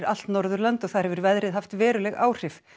allt Norðurland og þar hefur veðrið haft veruleg áhrif